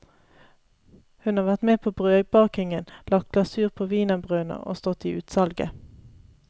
Hun har vært med på brødbakingen, lagt glasur på wienerbrødene og stått i utsalget.